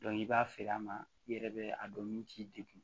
i b'a feere a ma i yɛrɛ bɛ a dɔn ni k'i degun